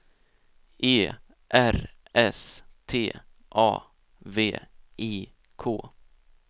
E R S T A V I K